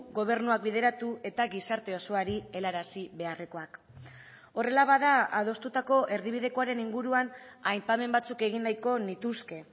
gobernuak bideratu eta gizarte osoari helarazi beharrekoak horrela bada adostutako erdibidekoaren inguruan aipamen batzuk egin nahiko nituzke